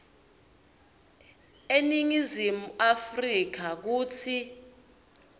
eningizimu afrika kutsi